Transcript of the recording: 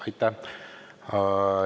Aitäh!